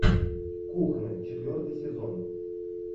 кухня четвертый сезон